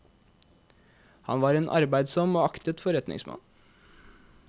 Han var en arbeidsom og aktet forretningsmann.